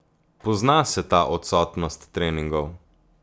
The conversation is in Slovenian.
Pozna se ta odsotnost treningov.